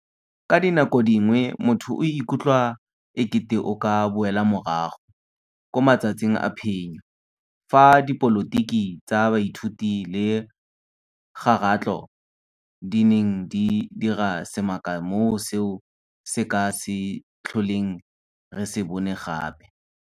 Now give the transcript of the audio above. Ka dinako dingwe motho o ikutlwa e kete o ka boela morago 'ko matsatsing a phenyo' fa dipolotiki tsa baithuti le kgaratlho, di neng di dira semaka mo seo se ka se tlholeng re se bone gape.